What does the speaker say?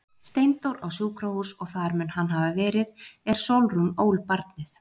Steindór á sjúkrahús og þar mun hann hafa verið er Sólrún ól barnið.